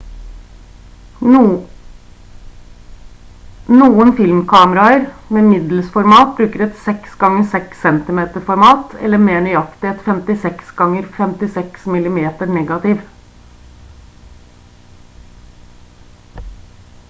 noen filmkameraer med middelsformat bruker et 6 ganger 6 cm format eller mer nøyaktig en 56 ganger 56 mm-negativ